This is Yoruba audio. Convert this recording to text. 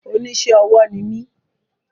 Oní isé ọwọ́ ni mí